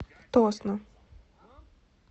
тосно